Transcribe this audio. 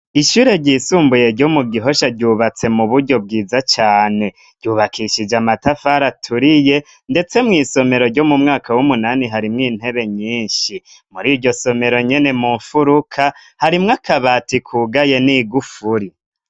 Ishure ryisumbuye ryo mu gihosha ryubatse mu buryo bwiza cane ryubakishije amatafari aturiye ndetse mwisomero ryo mu mwaka w'umunani harimwo intebe nyinshi muri iryo somero nyene mu mfuruka harimwo akabati kugaye n'igufuri.